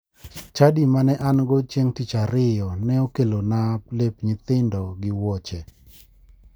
Chadi mane ango chieng' tich ariyo ne okelona lep nyithindo gi wuoche.